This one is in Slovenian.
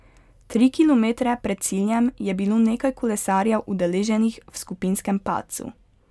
Tri kilometre pred ciljem je bilo nekaj kolesarjev udeleženih v skupinskem padcu.